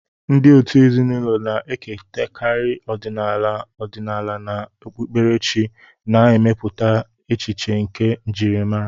Ndị òtù ezinụlọ na-ekerịtakarị ọdịnala ọdịnala na okpukperechi, na-emepụta echiche nke njirimara